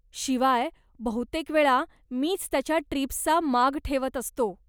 शिवाय, बहुतेकवेळा मीच त्याच्या ट्रिप्सचा माग ठेवत असतो.